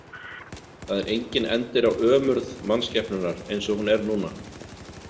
Það er enginn endir á ömurð mannskepnunnar eins og hún er núna.